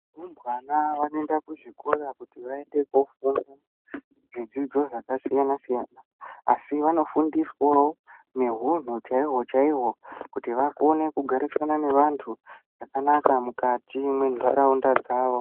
Varumbwana vanoenda kuzvikora kuti vaende kofunda zvidzidzo zvakasiyana siyana asi vanofundiswawo nehunhu chaiwo chaiwo kuti vakone kugarisana nevantu zvakanaka mukati mwentaraunda dzavo.